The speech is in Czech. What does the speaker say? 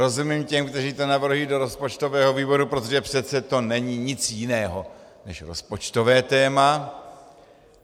Rozumím těm, kteří to navrhují do rozpočtového výboru, protože přece to není nic jiného než rozpočtové téma.